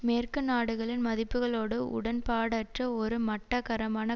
மேற்கு நாடுகளின் மதிப்புகளோடு உடன்பாடற்ற ஒரு மட்டகரமான